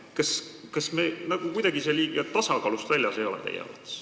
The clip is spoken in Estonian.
Kas see teie arvates kuidagi liiga tasakaalust väljas ei ole?